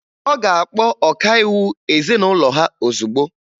Ọ ga-akpọ ọkaiwu ezinụlọ ha ozugbo